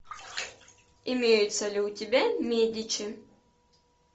имеются ли у тебя медичи